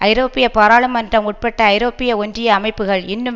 ஐரோப்பிய பாராளுமன்றம் உட்பட்ட ஐரோப்பிய ஒன்றிய அமைப்புகள் இன்னும்